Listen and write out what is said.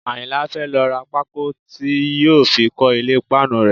Àyìnlá fẹ́ lọ ra pákó tí yóò fi kọ́ ilé páànù rẹ̀